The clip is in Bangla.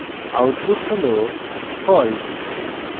output হল false